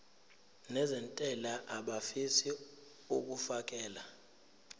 nezentela abafisa uukfakela